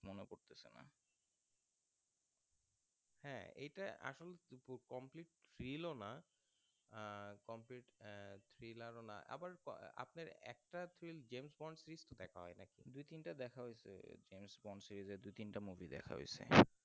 এটা আসল complete thrill ah complete thriller আবার আপনার একটা james bond film দেখা হয় নাই দুই তিনটা দেখা হৈছে james bond এর দুই তিনটা movie দেখা